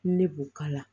Ne b'o k'a la